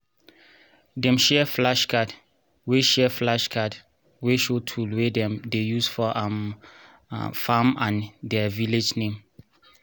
dem share flashcard wey share flashcard wey show tool wey dem dey use for um farm and der village name